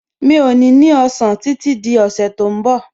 Mi ò ní ní ọ̀sán títí di ọ̀sẹ̀ tó ń bọ̀